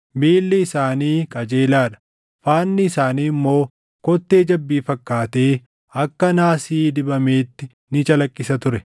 Miilli isaanii qajeelaa dha; faanni isaanii immoo kottee jabbii fakkaatee akka naasii dibameetti ni calaqqisa ture.